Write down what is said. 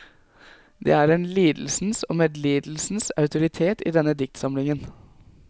Det er en lidelsens og medlidelsens autoritet i denne diktsamlingen.